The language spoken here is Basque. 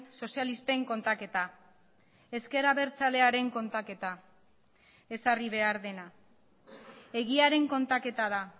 sozialisten kontaketa ezker abertzalearen kontaketa ezarri behar dena egiaren kontaketa da